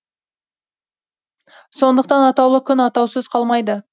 сондықтан атаулы күн атаусыз қалмайды